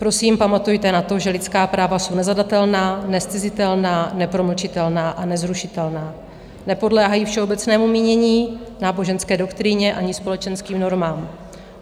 Prosím, pamatujte na to, že lidská práva jsou nezadatelná, nezcizitelná, nepromlčitelná a nezrušitelná, nepodléhají všeobecnému mínění, náboženské doktríně ani společenským normám.